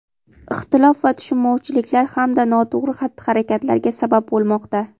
ixtilof va tushunmovchiliklar hamda noto‘g‘ri xatti-harakatlarga sabab bo‘lmoqda.